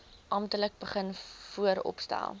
amptelik begin vooropstel